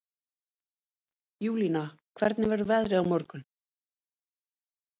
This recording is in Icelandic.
Júlína, hvernig verður veðrið á morgun?